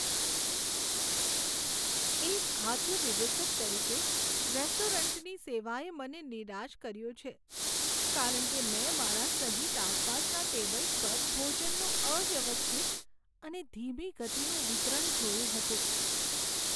એક ખાદ્ય વિવેચક તરીકે, રેસ્ટોરન્ટની સેવાએ મને નિરાશ કર્યો છે કારણ કે મેં મારા સહિત આસપાસના ટેબલ્સ પર ભોજનનું અવ્યવસ્થિત અને ધીમી ગતિનું વિતરણનું જોયું હતું.